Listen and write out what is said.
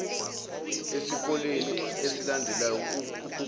esikoleni esilandelayo ukuqonda